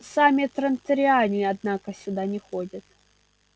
сами транториане однако сюда не ходят